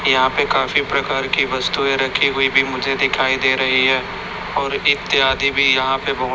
यहां पे काफी प्रकार की वस्तुएं रखी हुई भी मुझे दिखाई दे रही है और इत्यादि भी यहां पे बहोत--